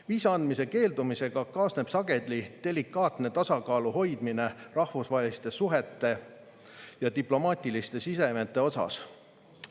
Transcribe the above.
Viisa andmise keeldumisega kaasneb sageli delikaatne tasakaalu hoidmine rahvusvaheliste suhete ja diplomaatiliste sidemete osas.